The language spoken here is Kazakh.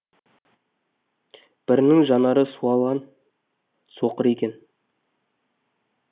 бірінің жанары суалған соқыр екен